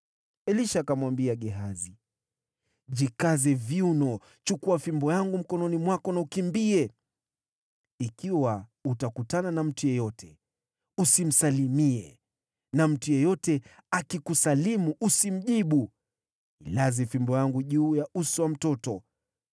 Elisha akamwambia Gehazi, “Jikaze viuno, chukua fimbo yangu mkononi mwako na ukimbie. Ikiwa utakutana na mtu yeyote, usimsalimie, na mtu yeyote akikusalimu, usimjibu. Ilaze fimbo yangu juu ya uso wa mtoto.”